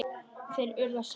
Þeir URÐU að selja.